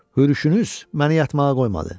Hürüşünüz məni yatmağa qoymadı.